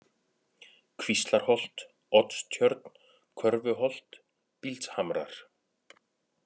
Kvíslarholt, Oddstjörn, Körfuholt, Bíldshamrar